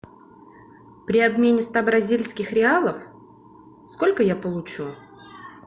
при обмене ста бразильских реалов сколько я получу